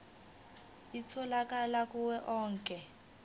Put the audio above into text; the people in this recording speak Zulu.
itholakala kuwo onke